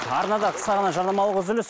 арнада қысқа ғана жарнамалық үзіліс